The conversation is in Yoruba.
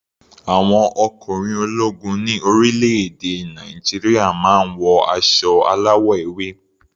Àwọn ọkùnrin ológun ní orílẹ̀-èdè Nàìjíríà máa ń wọ aṣọ aláwọ̀ ewé.